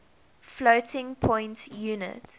floating point unit